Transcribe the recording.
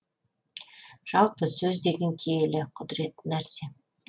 жалпы сөз деген киелі құдіретті нәрсе